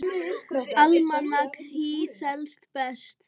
Almanak HÍ selst best